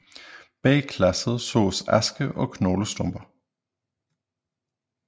Bag glasset sås aske og knoglestumper